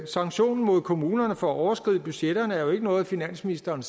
sanktioner mod kommunerne for at overskride budgetterne er jo ikke noget finansministeren